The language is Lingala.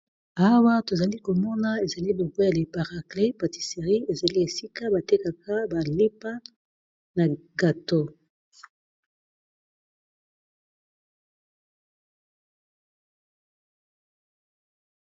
Awa tozali komona ezali bopoya leparacle patisserie ezali esika batekaka balipa na gato